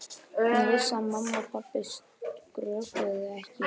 Hún vissi að mamma og pabbi skrökvuðu ekki.